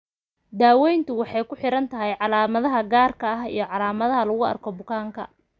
Daaweyntu waxay ku xiran tahay calaamadaha gaarka ah iyo calaamadaha lagu arko bukaanka.